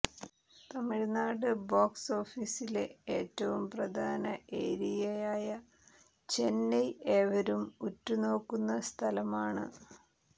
Tamil Nadu box ഓഫീസിലെ ഏറ്റവും പ്രധാന ഏരിയയായ ചെന്നൈ ഏവരും ഉറ്റുനോക്കുന്ന സ്ഥലമാണ്